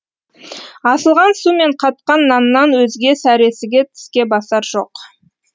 асылған су мен қатқан наннан өзге сәресіге тіске басар жоқ